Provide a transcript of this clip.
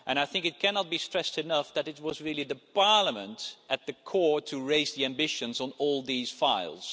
I think it cannot be stressed enough that it was really Parliament, at the core, that raised the ambitions on all these files.